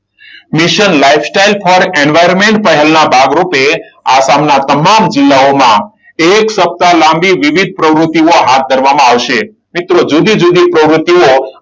mission lifestyle for environment પહેલ ના ભાગરૂપે આસામના તમામ જિલ્લાઓમાં એક સપ્તાહ લાંબી વિવિધ પ્રવૃત્તિઓ હાથ ધરવામાં આવશે. મિત્રો જુદી જુદી પ્રવૃત્તિઓ,